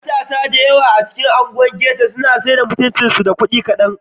Matasa da dama da ke unguwar Ghetto sayar da jikinsu da mutuncinsu a kan kudi kadan.